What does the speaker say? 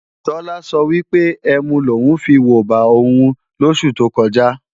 Tọ́lá sọ wípé ẹmu lòún fiwobà òun lósù tó kọjá